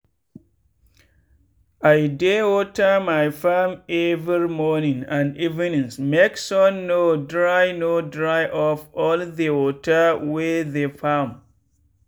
i dey water my farm every morning and evenings make sun no dry no dry up all the water wey the farm.